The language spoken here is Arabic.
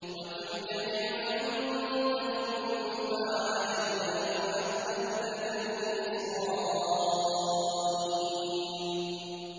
وَتِلْكَ نِعْمَةٌ تَمُنُّهَا عَلَيَّ أَنْ عَبَّدتَّ بَنِي إِسْرَائِيلَ